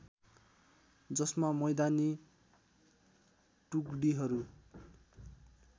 जसमा मैदानी टुकडीहरू